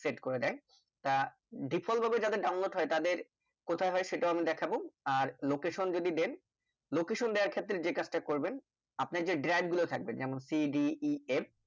set করে দেয় তা default ভাবে যাদের download হয় তাদের কথাই হয় আমি সেটাও দেখাবো আর location যদি দেন location দেওয়ার ক্ষেত্রে যে কাজ তা করবেন আপনার যে drag গুলো থাকবে যেমন cdef